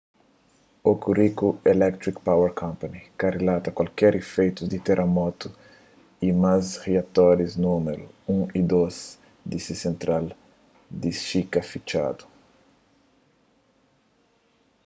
hokuriku electric power co ka rilata kualker ifeitus di teramotu y ma riatoris númeru 1 y 2 di se sentral di shika fitxadu